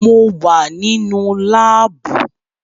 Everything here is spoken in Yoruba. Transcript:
Mo wà nínú láàbù